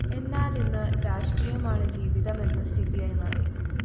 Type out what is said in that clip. എന്നാലിന്ന് രാഷ്ട്രീയമാണ് ജീവിതം എന്ന സ്ഥിതിയായി മാറി